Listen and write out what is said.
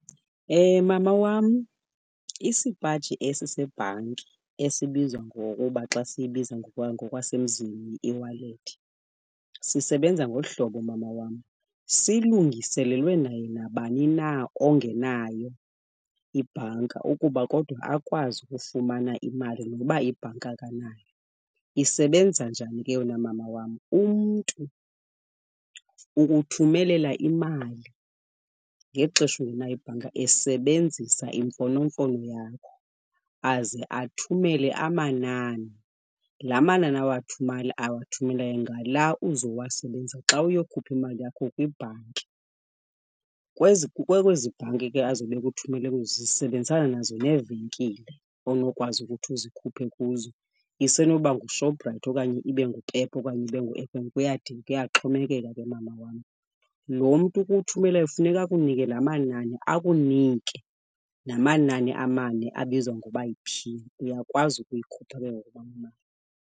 Mama wam, isipaji esi sebhanki esibizwa ngokuba xa siyibiza ngokwasemzini yi-eWallet sisebenza ngolu hlobo mama wam. Silungiselelwe naye nabani na ongenayo ibhanka ukuba kodwa akwazi ukufumana imali noba ibhanka akanayo. Isebenza njani ke yona mama wam? Umntu ukuthumelela imali ngexesha ungenayo ibhanka esebenzisa imfonomfono yakho. Aze athumele amanani. La manani awathumeleyo ngala uzowasebenzisa xa uyokhupha imali yakho kwibhanki. Kwezi bhanki ke azobe ekuthumele kuzo zisebenzisana nazo neevenkile onokwazi ukuthi uzikhuphe kuzo. Isenoba nguShoprite okanye ibe nguPep okanye ibe ngu-F_N_B, kuyaxhomekeka ke mama wam. Lo mntu ukuthumelayo funeka akunike la manani, akunike namanani amane abizwa ngoba yi-pin. Uyakwazi ukuyikhupha ke ngoku mama imali.